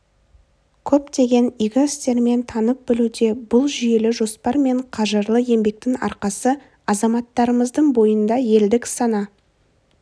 көптеген игі істермен танып-білуде бұл жүйелі жоспар мен қажырлы еңбектің арқасы азаматтарымыздың бойында елдік сана